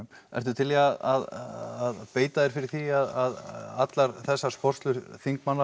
ertu til í að beita þér fyrir því að allar þessar sporslur þingmanna